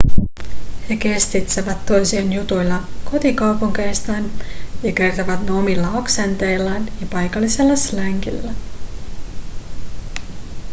he kestitsevät toisiaan jutuilla kotikaupungeistaan ja kertovat ne omilla aksenteillaan ja paikallisella slangilla